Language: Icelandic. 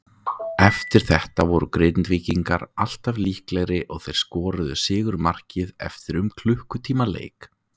Eftir þetta voru Grindvíkingar alltaf líklegri og þeir skoruðu sigurmarkið eftir um klukkutíma leik.